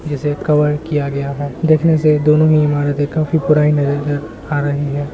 जिसे कवर किया गया है देखने से दोनों ही इमारतें काफी पुरानी नज़र आ रही है।